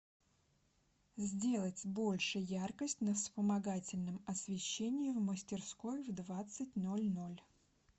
сделать больше яркость на вспомогательном освещении в мастерской в двадцать ноль ноль